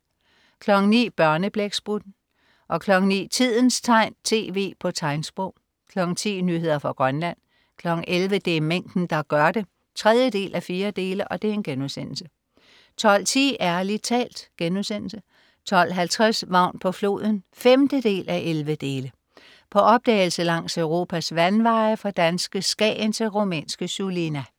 09.00 Børneblæksprutten 09.00 Tidens tegn, tv på tegnsprog 10.00 Nyheder fra Grønland 11.00 Det er mængden der gør det 3:4* 12.10 Ærlig talt* 12.50 Vagn på floden. 5:11. På opdagelse langs Europas vandveje, fra danske Skagen til rumænske Sulina